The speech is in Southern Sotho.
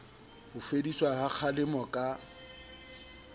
ho fediswa ha kgalemo ka